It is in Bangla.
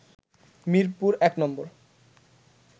মিরপুর-১ নম্বর